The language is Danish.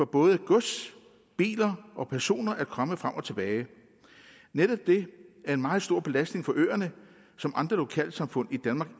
både gods biler og personer kan komme frem og tilbage netop det er en meget stor belastning for øerne som andre lokalsamfund i danmark